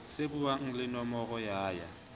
shebuwang le nomoro ya ya